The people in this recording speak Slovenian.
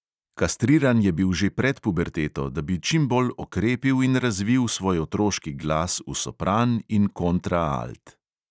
Kastriran je bil že pred puberteto, da bi čim bolj okrepil in razvil svoj otroški glas v sopran in kontraalt.